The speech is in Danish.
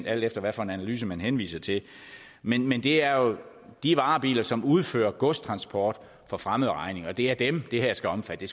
alt efter hvad for en analyse man henviser til men men det er jo de varebiler som udfører godstransport for fremmed regning og det er dem det her skal omfatte